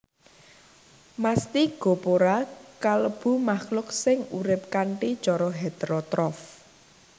Mastigophora kalebu makhluk sing urip kanthi cara heterotrof